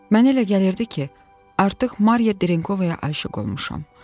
Mənə elə gəlirdi ki, artıq Mariya Drinkovaya aşiq olmuşam.